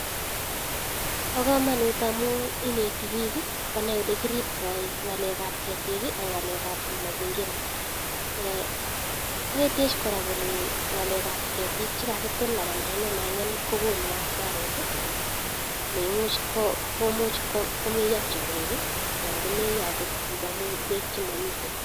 Pa kamanut amun ineti piik konai ole kiribtai ng'alek ab ketik ak ng'alek ab mazingira. Inetech kora kole ng'alek ab ketik che kagetil anan ke keng'em ang'em kogonu hasara ne much ko muiyo tiong'ik anan ko meiyo okot piik amu peek che mamite.